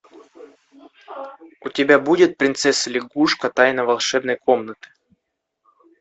у тебя будет принцесса лягушка тайна волшебной комнаты